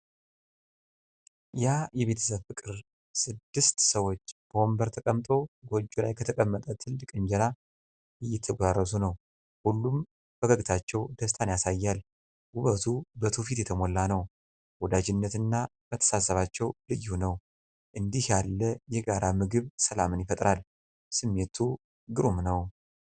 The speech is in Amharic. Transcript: ያ የቤተሰብ ፍቅር! ስድስት ሰዎች በወንበር ተቀምጠው ጎጆ ላይ ከተቀመጠ ትልቅ እንጀራ እየተጎራረሱ ነው። ሁሉም ፈገግታቸው ደስታን ያሳያል። ውበቱ በትውፊት የተሞላ ነው። ወዳጅነትና መተሳሰባቸው ልዩ ነው። እንዲህ ያለው የጋራ ምግብ ሰላምን ይፈጥራል። ስሜቱ ግሩም ነው!